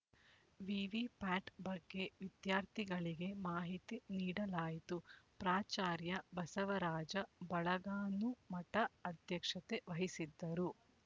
ವಿವಿ ಪ್ಯಾಟ್ ಬಗ್ಗೆ ವಿದ್ಯಾರ್ಥಿಗಳಿಗೆ ಮಾಹಿತಿ ನೀಡಲಾಯಿತು ಪ್ರಾಚಾರ್ಯ ಬಸವರಾಜ ಬಳಗಾನೂಮಠ ಅಧ್ಯಕ್ಷತೆ ವಹಿಸಿದ್ದರು